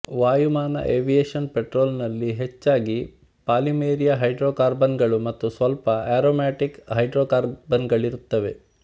ವಾಯುಮಾನ aviation ಪೆಟ್ರೋಲಿನಲ್ಲಿ ಹೆಚ್ಚಾಗಿ ಪಾಲಿಮೆರೀಯ ಹೈಡ್ರೋಕಾರ್ಬನ್ನುಗಳು ಮತ್ತು ಸ್ವಲ್ಪ ಆರೊಮ್ಯಾಟಿಕ್ ಹೈಡ್ರೊಕಾರ್ಬನ್ನುಗಳಿರುತ್ತವೆ